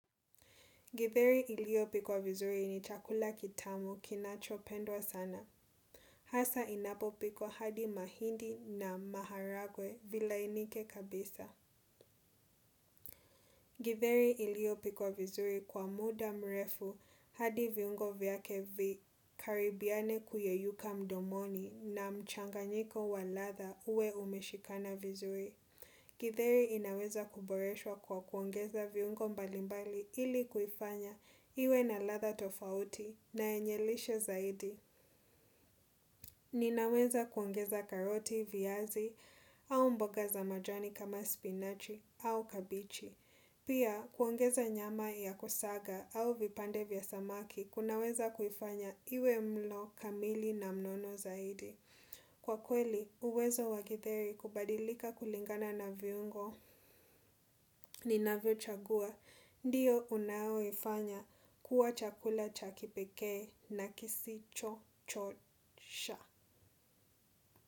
Githeri iliyopikwa vizuri ni chakula kitamu kinachopendwa sana. Hasa inapopikwa hadi mahindi na maharagwe vilainike kabisa. Githeri iliopikwa vizuri kwa muda mrefu hadi viungo vyake vikaribiane kuyeyuka mdomoni na mchanganyiko wa ladha uwe umeshikana vizuri. Githeri inaweza kuboreswa kwa kuongeza viungo mbalimbali ili kuifanya iwe na ladha tofauti. Na yenye lishe zaidi, ninaweza kuongeza karoti, viazi, au mboga za majani kama spinachi au kabichi. Pia, kuongeza nyama ya kusaga au vipande vya samaki, kunaweza kuifanya iwe mlo, kamili na mnono zaidi. Kwa kweli, uwezo wa githeri kubadilika kulingana na viungo ninavyochagua, ndiyo unaoifanya kuwa chakula cha kipekee na kisicho chosha.